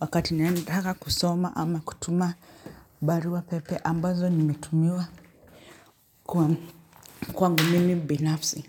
wakati naendaga kusoma ama kutuma barua pepe ambazo nimetumiwa kwangu mimi binafsi.